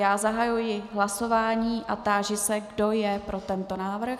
Já zahajuji hlasování a táži se, kdo je pro tento návrh.